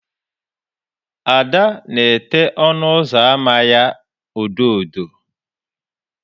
Ada na ete ọnụ ụzọ ámá ya odo odo.